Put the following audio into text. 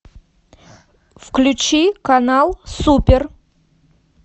включи канал супер